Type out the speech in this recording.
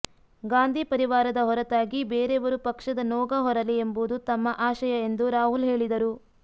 ಗಾಂಧಿ ಪರಿವಾರದ ಹೊರತಾಗಿ ಬೇರೆಯವರು ಪಕ್ಷದ ನೋಗ ಹೊರಲಿ ಎಂಬುದು ತಮ್ಮ ಆಶಯ ಎಂದು ರಾಹುಲ್ ಹೇಳಿದರು